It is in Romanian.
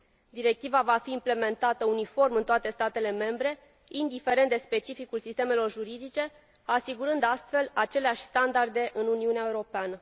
Directiva va fi implementată uniform în toate statele membre, indiferent de specificul sistemelor juridice, asigurând, astfel, aceleași standarde în Uniunea Europeană.